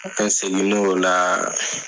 segini o la